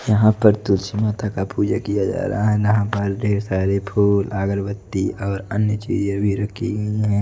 यहां पर तुलसी माता का पूजा किया जा रहा है यहां पर ढेर सारे फूल अगरबत्ती और अन्य चीजें भी रखी हुई हैं।